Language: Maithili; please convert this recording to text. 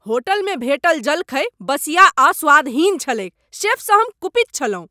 होटलमे भेटल जलखै बसिया आ स्वादहीन छलैक शेफ सँ हम कुपित छलहुँ।